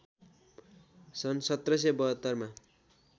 सन् १७७२ मा